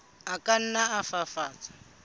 a ka nna a fafatswa